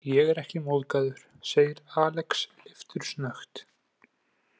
Ég er ekki móðgaður, segir Alex leiftursnöggt.